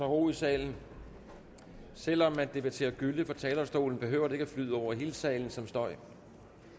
ro i salen selv om man debatterer gylle fra talerstolen behøver det ikke flyde ud over hele salen som støj